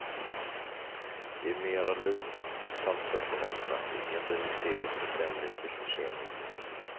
Det är mera lugnt och sansat på nätterna, ingen blir hysterisk för fem minuters försening.